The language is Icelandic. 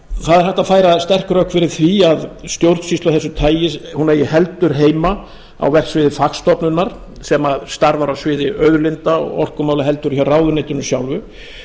það er hægt að færa sterk rök fyrir því að stjórnsýsla af þessu tagi eigi heldur heima á verksviði fagstofnunar sem starfar á sviði auðlinda og orkumála heldur en hjá ráðuneytinu sjálfu